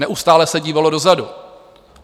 Neustále se dívalo dozadu.